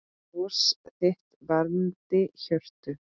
Bros þitt vermdi hjörtu.